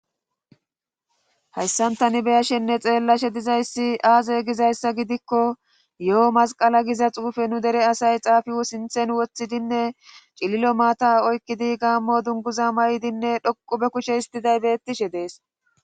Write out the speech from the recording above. Hayssantani beyashenne xeellashe dizayssi aaze gizayssa gidikko yo''o masqala giza xuufe nu dere asay xaafiwo sinthen woththidinne cililo maata oykkidi gaammo dunguza maydinne dhoqu be kushe histiday bettishe dees.